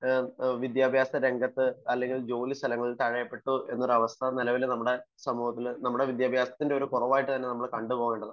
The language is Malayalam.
വിദ്യാഭ്യാസ രംഗത്ത് അല്ലെങ്കിൽ ജോലി സ്ഥലങ്ങളിൽ തഴയപ്പെട്ടു എന്ന ഒരവസ്ഥ നമ്മുടെ വിദ്യാഭ്യാസത്തിന്റെ ഒരു കുറവ് തന്നേ ആയിട്ട് കണ്ടുപോവേണ്ടതാണ്